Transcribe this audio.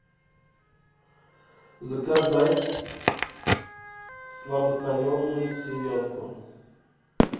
заказать слабосоленую селедку